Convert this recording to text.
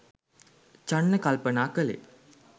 චන්න කල්පනා කළේ